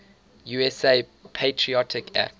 usa patriot act